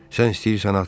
Sən istəyirsən atma.